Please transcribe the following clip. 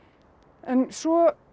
en svo